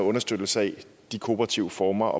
understøttelse af de kooperative former